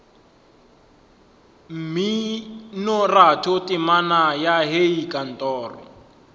mminoratho temana ya hei kantoro